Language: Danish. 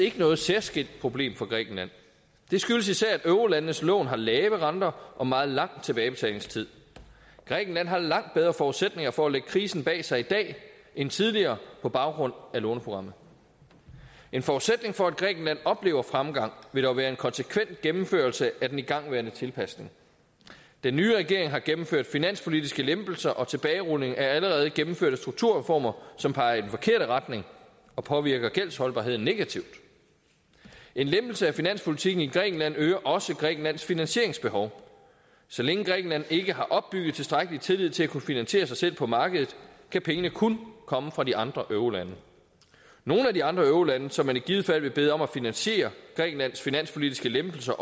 ikke noget særskilt problem for grækenland det skyldes især at eurolandenes lån har lave renter og meget lang tilbagebetalingstid grækenland har langt bedre forudsætninger for at lægge krisen bag sig i dag end tidligere på baggrund af låneprogrammet en forudsætning for at grækenland oplever fremgang vil dog være en konsekvent gennemførelse af den igangværende tilpasning den nye regering har gennemført finanspolitiske lempelser og tilbagerulning af allerede gennemførte strukturreformer som peger i den forkerte retning og påvirker gældsholdbarheden negativt en lempelse af finanspolitikken i grækenland øger også grækenlands finansieringsbehov så længe grækenland ikke har opbygget tilstrækkelig tillid til at kunne finansiere sig selv på markedet kan pengene kun komme fra de andre eurolande nogle af de andre eurolande som man i givet fald vil bede om at finansiere grækenlands finanspolitiske lempelser